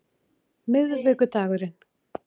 miðvikudagurinn